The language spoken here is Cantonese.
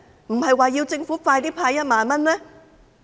不是說要政府盡快派發1萬元嗎？